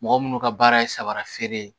Mɔgɔ munnu ka baara ye samara feere ye